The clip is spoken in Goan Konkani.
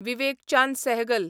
विवेक चांद सेहगल